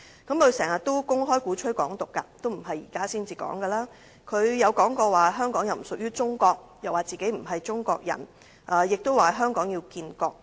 他經常公開鼓吹"港獨"，不是現在才說，他亦曾說香港不屬於中國、自己不是中國人，以及香港要建國。